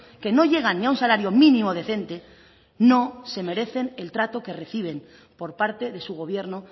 que no llegan ni a un salario mínimo decente no se merecen el trato que reciben por parte de su gobierno